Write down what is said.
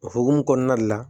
O hokumu kɔnɔna de la